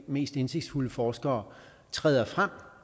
mest indsigtsfulde forskere træder frem